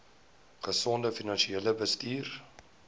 gesonde finansiële bestuur